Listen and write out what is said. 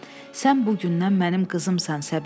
Sən bugündən mənim qızımsan, Səbinə.